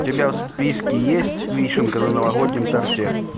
у тебя в списке есть вишенка на новогоднем торте